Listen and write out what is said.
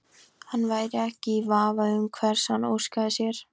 Hann væri ekki í vafa um hvers hann óskaði sér.